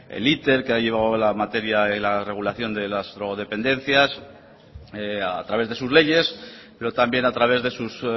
el iter que ha llevado la materia de la regulación de las drogodependencias a través de sus leyes pero también a través de sus